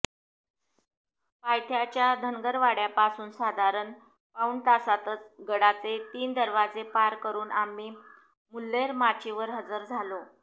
पायथ्याच्या धनगरवाड्यापासून साधारण पाऊण तासातच गडाचे तीन दरवाजे पार करून आम्ही मुल्हेर माचीवर हजर झालो